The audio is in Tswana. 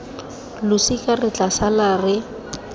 losika re tla sala re